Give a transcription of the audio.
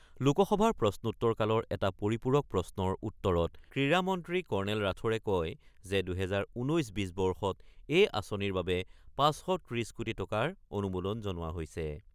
লোকসভাৰ প্ৰশ্নোত্তৰ কালৰ এটা পৰিপূৰক প্ৰশ্নৰ উত্তত ক্ৰীড়া মন্ত্ৰী কৰ্ণেল ৰাথোৰে কয় যে, ২০১৯-২০ বৰ্ষত এই আঁচনিৰ বাবে ৫৩০ কোটি টকাৰ অনুমোদন জনোৱা হৈছে।